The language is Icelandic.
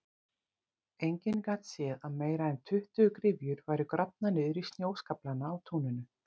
Enginn gat séð að meira en tuttugu gryfjur væru grafnar niður í snjóskaflana á túninu.